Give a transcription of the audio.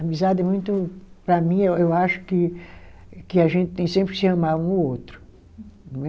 Amizade é muito, para mim, eu acho que que a gente tem sempre que se amar um ao outro, não é?